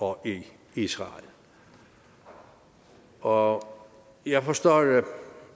og i israel og jeg forstår da